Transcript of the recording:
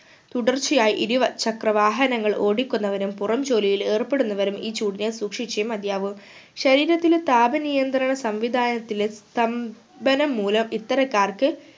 തുടർച്ചയായി ഇരുവ ചക്ര വാഹനങ്ങൾ ഓടിക്കുന്നവരും പുറം ജോലിയിൽ ഏർപെടുന്നവരും ഈ ചൂടിനെ സൂക്ഷിച്ചേ മതിയാവു ശരീരത്തിലെ താപനിയന്ത്രണ സംവിദാനത്തിലെ സ്തംഭനം മൂലം ഇത്തരക്കാർക്ക്